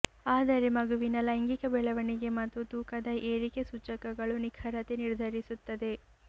ಆದರೆ ಮಗುವಿನ ಲೈಂಗಿಕ ಬೆಳವಣಿಗೆ ಮತ್ತು ತೂಕದ ಏರಿಕೆ ಸೂಚಕಗಳು ನಿಖರತೆ ನಿರ್ಧರಿಸುತ್ತದೆ